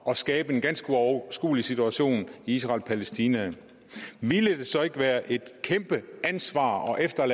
skabe en ganske uoverskuelig situation i israel og palæstina ville det så ikke være et kæmpe ansvar